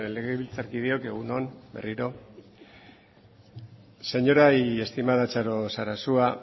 legebiltzarkideok egun on berriro señora y estimada txaro sarasua